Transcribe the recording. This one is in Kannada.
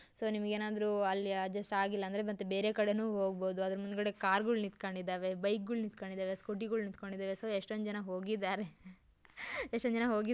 ಸೊ ನಿಮಗೆ ಏನಾದ್ರು ಅಲ್ಲಿ ಅಡ್ಜಸ್ಟ್ ಆಗಿಲ್ಲ ಅಂದ್ರೆ ಬೆರೆ ಕಡೆನು ಹೊಗಬಹುದು ಅದರ ಮುಂದಗಡೆ ಕಾರ ಗಳು ನಿಂತಕೊಂಡ್ಡಿದ್ದಾವೆ ಬೈಕ ಗಳ ನಿಂತಕೊಂಡ್ಡಿದ್ದಾವೆ ಸ್ಕೂಟಿ ಗಳು ನಿಂತಕೊಂಡಿದ್ದಾವೆ ಸೊ ಎಸ್ಟೊಂದು ಜನ ಹೊಗಿದ್ದಾರೆ ಎಸ್ಟೊಂದು ಜನ ಹೊಗಿ --